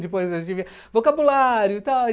Depois a gente via vocabulário tal.